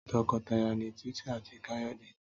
Tọkọtaya ni Títí àti Káyọ̀dé